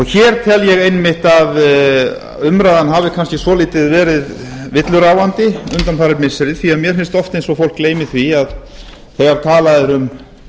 hér tel ég einmitt að umræðan hafi kannski svolítið verið villuráfandi undanfarin missiri því að mér finnst oft eins og fólk gleymi því að þegar talað er um